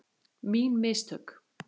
Mín mistök?